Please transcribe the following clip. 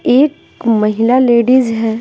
एक महिला लेडीज है।